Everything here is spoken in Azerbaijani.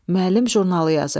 Müəllim jurnalı yazırdı.